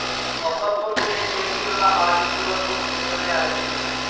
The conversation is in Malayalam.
ഒപ്പം കൂടിയ ശേഷിയുള്ള ഹാർഡ്‌ ഡിസ്കുകൾക്കും പിന്തുണയാരംഭിച്ചു.